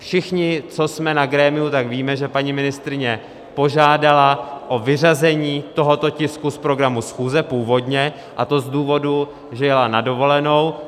Všichni, co jsme na grémiu, tak víme, že paní ministryně požádala o vyřazení tohoto tisku z programu schůze původně, a to z důvodu, že jela na dovolenou.